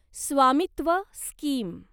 स्वामित्व स्कीम